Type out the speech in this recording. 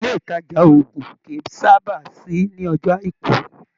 Ilé ìtajà òògùn kí sábà sí ní ọjọ́ àìkú.